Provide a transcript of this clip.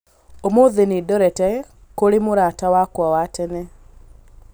Ũmũthĩ nĩ ndorete kũrĩ mũrata wakwa wa tene.